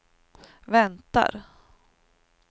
väntar